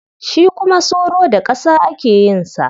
Shi kuma soro da ƙasa ake yin sa.